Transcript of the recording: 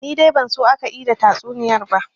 Ni dai ban so aka ida tatsuniyar ba